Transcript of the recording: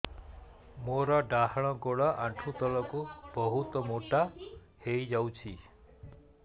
ମୋର ଡାହାଣ ଗୋଡ଼ ଆଣ୍ଠୁ ତଳକୁ ବହୁତ ମୋଟା ହେଇଯାଉଛି